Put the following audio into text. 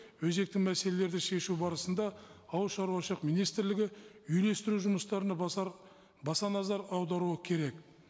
өзекті мәселелерді шешу барысында ауылшаруашылық министрлігі үйлестіру жұмыстарына баса назар аударуы керек